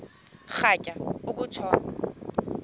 rhatya uku tshona